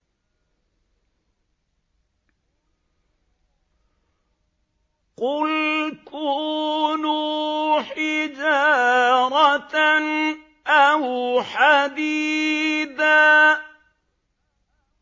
۞ قُلْ كُونُوا حِجَارَةً أَوْ حَدِيدًا